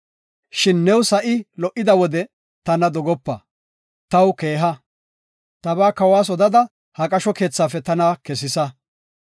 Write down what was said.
Shin new sa7i lo77ida wode tana dogopa; taw keeha. Tabaa kawas odada, ha qasho keethafe tana kesisa.